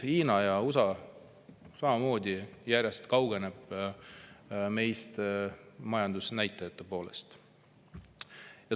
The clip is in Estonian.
Hiina ja USA samamoodi järjest kaugenevad meist majandusnäitajate poolest.